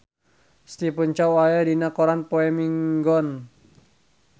Stephen Chow aya dina koran poe Minggon